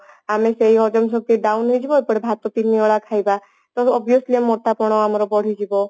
ଆମେ ସେଇ ହଜମ ଶକ୍ତି down ହେଇଯିବ ଏପଟେ ଭାତ ତିନିଓଳା ଖାଇବା ତେଣୁ obviously ଆମ ମୋଟାପଣ ଆମର ବଢିଯିବ